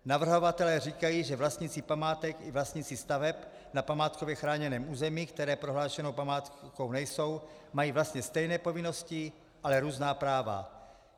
Navrhovatelé říkají, že vlastníci památek i vlastníci staveb na památkově chráněném území, které prohlášené památkou nejsou, mají vlastně stejné povinnosti, ale různá práva.